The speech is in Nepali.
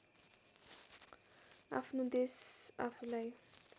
आफ्नो देश आफूलाई